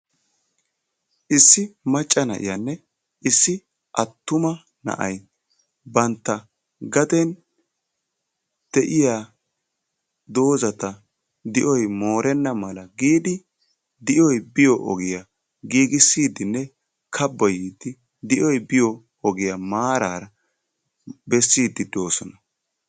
Issi macca na'iyanne issi attuma na'ay bantta gaden de'iya doozata di'oy moorenna mala giidi di'oy biyo ogiyaa giigissidinne kabboyide di'oy biyo ogiya maarara besside doosona.